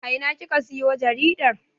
A ina kika siyo jaridar?